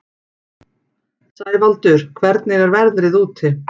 Sævaldur, hvernig er veðrið úti?